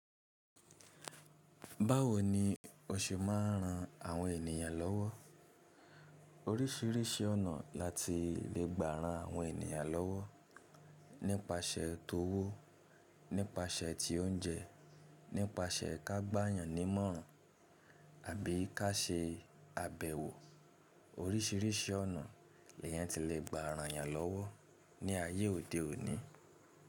Báwo ni o ṣe máa ń ran àwọn ènìyàn lọ́wọ́? Oríṣiríṣi ọ̀nà la ti lè gbà ran àwọn ènìyàn lọ́wọ́, nípasẹ̀ tówó, nípasẹ̀ ti oúnjẹ, nípasẹ̀ ká gba ènìyàn nímọ̀ràn àbí ká ṣe àbẹ̀wò. Oríṣiríṣi ọ̀nà ni èyàn ti lè gbà àwọn èyàn lọ́wọ́ ní ayé òde òní.